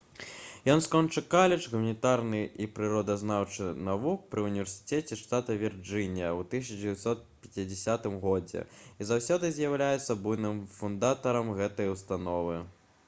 ён скончыў каледж гуманітарных і прыродазнаўчых навук пры універсітэце штата вірджынія ў 1950 г і заўсёды з'яўляўся буйным фундатарам гэтай установы